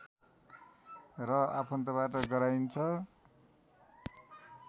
र आफन्तबाट गराइन्छ